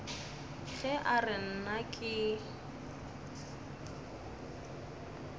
ge a re nna ke